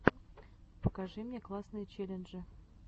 покажи мне классные челленджи